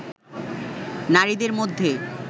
নারীদের মধ্যে